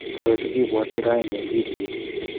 Choe che kibwaati raoni eng kitii nyii.